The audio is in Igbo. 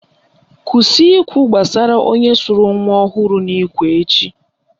Kwụsị ikwu gbasara onye sụrụ nwa ọhụrụ n'ikwe echi!